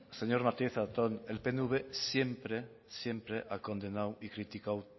señor martínez zatón el pnv siempre siempre ha condenado y criticado